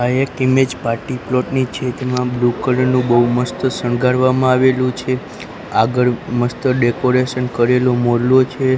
આ એક image party plot ની છે તેમા બ્લુ કલર નુ બઉ મસ્ત શણગારવામાં આવેલું છે આગળ મસ્ત ડેકોરેશન કરેલુ મોલ્લો છે.